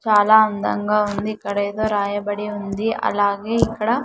చాలా అందంగా ఉంది ఇక్కడ ఏదో రాయబడి ఉంది అలాగే ఇక్కడ.